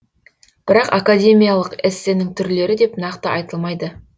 бірақ академиялық эссенің түрлері деп нақты айтылмайды